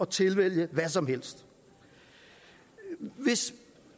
tilvælge hvad som helst hvis